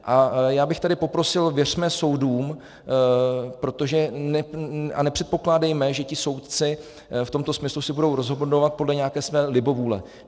A já bych tady poprosil, věřme soudům a nepředpokládejme, že ti soudci v tomto smyslu si budou rozhodovat podle nějaké své libovůle.